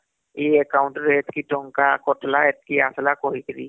କି ତୁମର ଏଇ account ରେ ଏତିକି ଟଙ୍କା କଟିଲା ଏତିକି ଆସିଲା କହିକରି